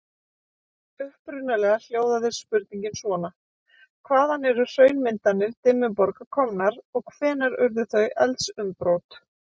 Upprunalega hljóðaði spurningin svona: Hvaðan eru hraunmyndanir Dimmuborga komnar og hvenær urðu þau eldsumbrot?